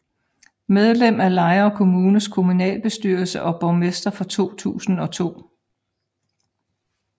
Medlem af Lejre Kommunes kommunalbestyrelse og borgmester fra 2002